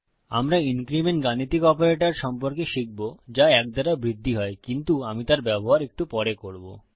আমরা ইনক্রিমেন্ট বৃদ্ধি গাণিতিক অপারেটর সম্পর্কে শিখব যা ১ দ্বারা বৃদ্ধি হয় কিন্তু আমি তার ব্যবহার একটু পরে করব